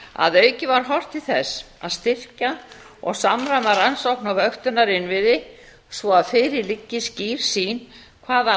að auki var horft til þess að styrkja og samræma rannsókn á vöktunarinnviði svo að fyrir lægi skýr sýn hvaða